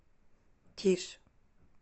тише